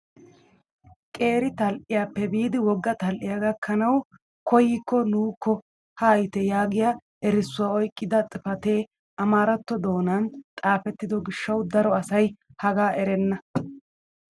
Qeeri tal"iyaappe biidi wogga tal"iyaa gakkanawu koyikko nuukko haayite yaagiyaa erissuwaa oyqqida xifatee amaaratto doonan xaafettido giishshawu daro asay hagaa erenna.